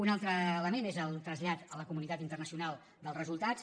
un altre element és el trasllat a la comunitat interna·cional dels resultats